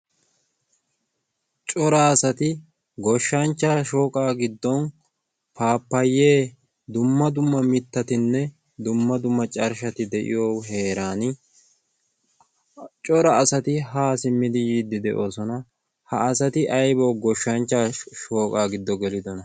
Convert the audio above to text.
cora asati goshshanchcha shooqa giddon paapayee dumma dumma mittatinne dumma dumma carshshati de'iyo heeran cora asati haa simmidi yiiddi de'oosona. ha asati aibo goshshanchcha shooqaa giddo gelidona?